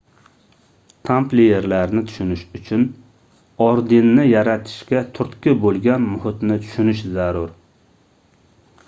tampliyerlarni tushunish uchun ordenni yaratishga turtki boʻlgan muhitni tushunish zarur